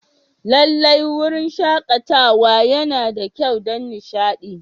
Lallai, wurin shakatawa yana da kyau don nishaɗi.